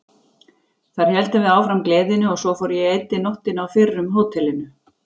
Þar héldum við áfram gleðinni og svo fór að ég eyddi nóttinni á fyrrum hótelinu.